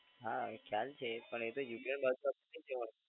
હા એ ખ્યાલ છે પણ એ તો યુક્રેન